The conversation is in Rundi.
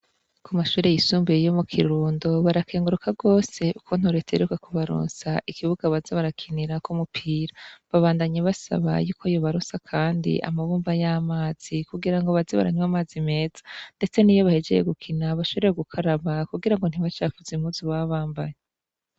ku mashure yisumbuye yo mu kirundo barakenguruka gose ukuntu reta iheruka kubaronsa ikibuga baza barakinirako umupira babandanye basaba yuko yo baronsa kandi amabomba y'amazi kugira ngo baze baranywa amazi meza ndetse niyo bahejeje gukina bashobore gukaraba kugira ngo ntibacavuze impuzu baba bambaye